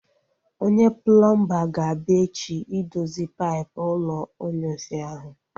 Onye plọmba ga-abịa echi idozi paipụ ụlọ inyunsi ahu